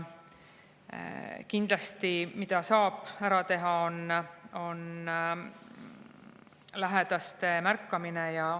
Mida saab kindlasti ära teha, on lähedaste märkamine.